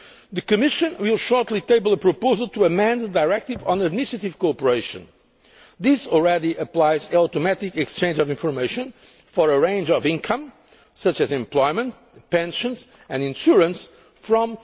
income. The Commission will shortly table a proposal to amend the Directive on Administrative Cooperation. This already applies an automatic exchange of information for a range of income, such as employment, pensions and insurance,